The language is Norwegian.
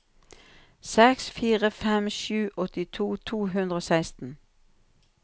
seks fire fem sju åttito to hundre og seksten